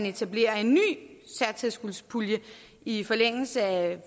etablere en ny satstilskudspulje i forlængelse af